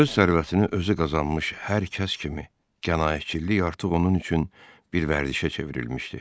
Öz sərvətini özü qazanmış hər kəs kimi qənaətcillik artıq onun üçün bir vərdişə çevrilmişdi.